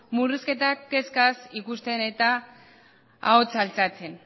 murrizketak kezkaz ikusten eta ahotsa altxatzen